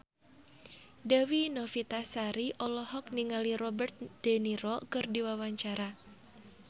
Dewi Novitasari olohok ningali Robert de Niro keur diwawancara